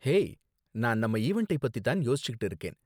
Hey, நான் நம்ம ஈவண்டை பத்தி தான் யோசிச்சுட்டு இருக்கேன்.